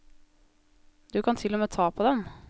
Du kan til og med ta på dem.